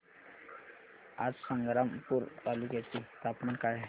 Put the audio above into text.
आज संग्रामपूर तालुक्या चे तापमान काय आहे